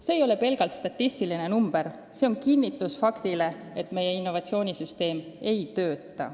See ei ole pelgalt statistiline number, see kinnitab fakti, et meie innovatsioonisüsteem ei tööta.